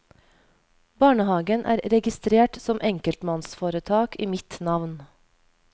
Barnehagen er registrert som enkeltmannsforetak i mitt navn.